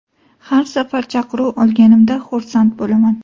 Har safar chaqiruv olganimda xursand bo‘laman.